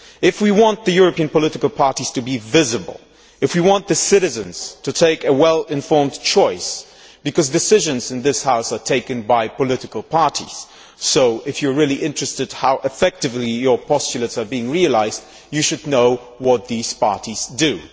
If we want the European political parties to be visible and citizens to take a well informed choice because decisions in this House are taken by political parties and if we are really interested in how effectively our postulates are being realised, we should know what these parties do.